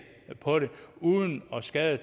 på det uden at skade